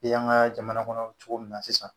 I y'an ka jamana kɔnɔ cogo min na sisan